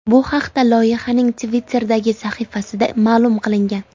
Bu haqda loyihaning Twitter’dagi sahifasida ma’lum qilingan .